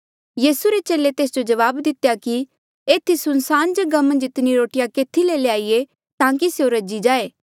यीसू रे चेले तेस जो जवाब दितेया कि एथी सुनसान जगहा मन्झ इतनी रोटिया केथी ले ल्याईये ताकि स्यो रजी जाए